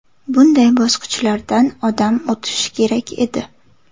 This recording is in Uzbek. Bunday bosqichlardan odam o‘tishi kerak edi.